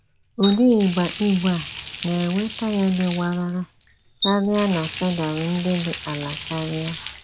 Ụdị ígba ígwè a na - enwe taị́yà dị warara karịa na pedal ndị dị ala karịa.